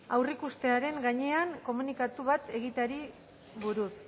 aurreikustearen gainean komunikatu bat egiteari buruz